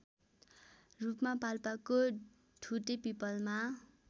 रूपमा पाल्पाको ठुटेपीपलमा